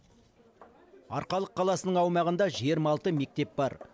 арқалық қаласының аумағында жиырма алты мектеп бар